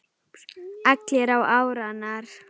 Allir á árarnar